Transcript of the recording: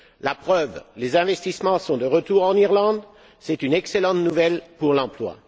La preuve, les investissements sont de retour en Irlande, c'est une excellente nouvelle pour l'emploi.